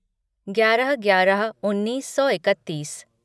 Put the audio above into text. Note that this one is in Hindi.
ग्यारह ग्यारह उन्नीस सौ इकत्तीस